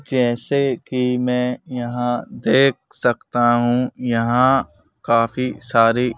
जैसे कि मैं यहां देख सकता हूं यहां काफी सारी--